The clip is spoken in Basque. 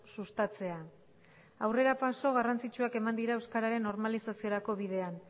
sustatzea aurrerapauso garrantzitsuak eman dira euskararen normalizaziorako bidean